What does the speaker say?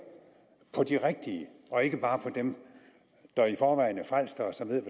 på de rigtige og ikke bare på dem der i forvejen er frelste og som ved